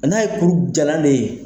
A n'a ye kuru jalan de ye.